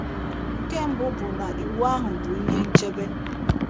Nke mbụ bụ na iwu ahụ bụ ihe nchebe.